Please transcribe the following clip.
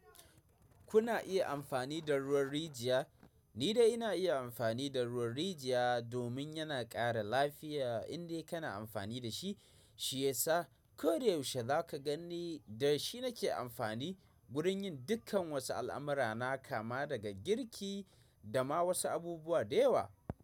Kuna iya amfani da ruwan rijiya. Ni dai ina iya amfani da ruwan rijiya domin yana ƙara lafiya indai kana amfani da shi shiyasa. Ko da yaushe za ka gani da shi nake amfani gurin yin dukkan wasu al'amura na kama daga girki da ma wasu abubuwa da yawa.